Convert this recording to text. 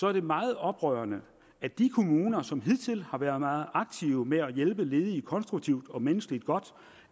er det meget oprørende at de kommuner som hidtil har været meget aktive med at hjælpe ledige konstruktivt og menneskeligt godt